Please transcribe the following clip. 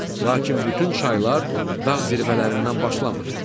Lakin bütün çaylar dağ zirvələrindən başlamır.